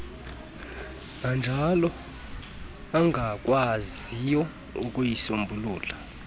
nanjalo ungakwaziyo ukuyisombulula